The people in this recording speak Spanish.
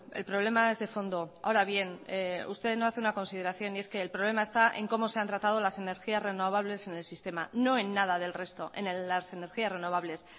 el problema es de fondo ahora bien usted no hace una consideración y es que el problema está en como se han tratado las energías renovables en el sistema no en nada del resto en las energías renovables